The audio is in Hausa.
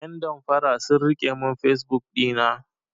Yan damfara sun rike mun fesbuk ɗina.